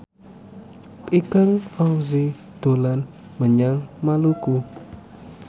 Ikang Fawzi dolan menyang Maluku